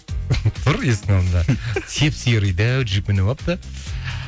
тұр есіктің алдында сеп серый дәу джип мініп алыпты